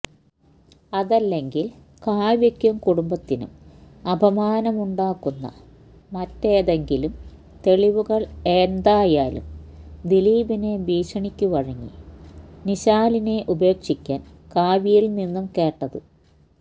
അതല്ലെങ്കില് കാവ്യക്കും കുടുംബത്തിനും അപമാനമുണ്ടാക്കുന്ന മറ്റെതെങ്കിലും തെളിവുകള് എന്തായാലും ദിലീപിനെ ഭീക്ഷണിക്കുവഴങ്ങി നിശാലിനെ ഉപേക്ഷിക്കാന് കാവ്യയില് നിന്നും കേട്ടത്